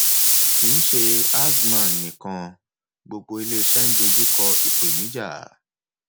kì í ṣe azman nìkan gbogbo ilé iṣẹ ń dojú kọ ìpènijà